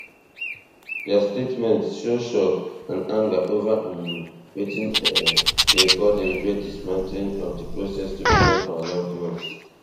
dia statement show shock and anger over um wetin um dem call deliberate dismantling of di process to return our loved ones